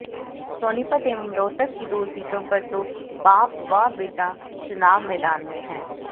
सोनीपत एवं रोहतक की दो सीटों पर तो बाप व बेटा चुनाव मैदान में हैं